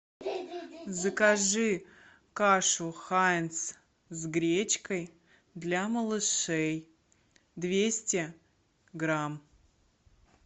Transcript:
закажи кашу хайнц с гречкой для малышей двести грамм